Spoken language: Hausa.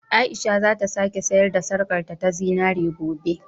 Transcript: Aisha za ta sake sayar da sarƙarta ta zinare gobe.